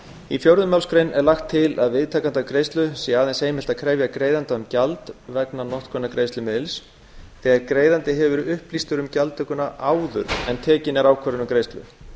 í fjórðu málsgrein er lagt til að viðtakanda greiðslu sé aðeins heimilt að krefja greiðanda um gjald vegna notkunar greiðslumiðils þegar greiðandi hefur verið upplýstur um gjaldtökuna áður en tekin er ákvörðun um greiðslu